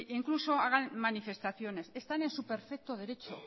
incluso hagan manifestaciones están en su perfecto derecho